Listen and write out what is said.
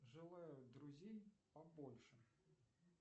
желаю друзей побольше